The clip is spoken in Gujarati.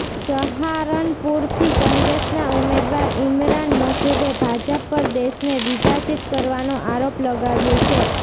સહારનપુરથી કોંગ્રેસના ઉમેદવાર ઈમરાન મસૂદે ભાજપ પર દેશને વિભાજીત કરવાનો આરોપ લગાવ્યો છે